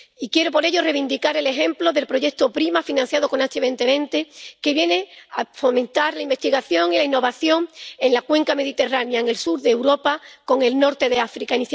Y quiero, por ello, reivindicar el ejemplo del proyecto PRIMA, financiado con Horizonte 2020, que viene a fomentar la investigación y la innovación en la cuenca mediterránea, en el sur de Europa, con el norte de África.